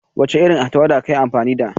Wace irin tawada kayi amfani da?